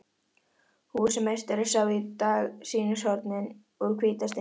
Húsameistari sá í dag sýnishornin úr hvíta steininum.